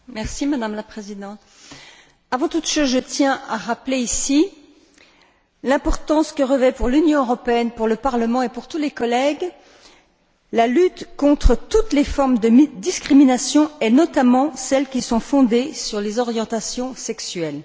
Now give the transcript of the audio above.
Madame la Présidente, avant toute chose, je tiens à rappeler ici l'importance que revêt pour l'Union européenne, pour le Parlement et pour tous les collègues la lutte contre toutes les formes de discrimination, notamment celle fondée sur les orientations sexuelles.